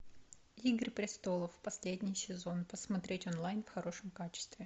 игры престолов последний сезон посмотреть онлайн в хорошем качестве